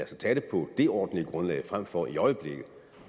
tage det på det ordentlige grundlag frem for i øjeblikket